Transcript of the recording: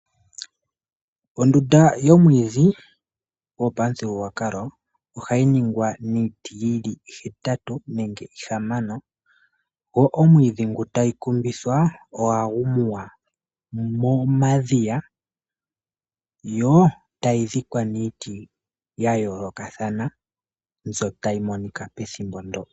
Ondunda yomwiidhi yopamuthigululwakalo ohayi ningwa niiti yili ihetatu nenge ihamano, go omwiidhi ngu tayi kumbithwa ohagu muwa momadhiya, yo tayi dhikwa niiti ya yoolokathana mbyoka tayi monika pethimbo ndyoka.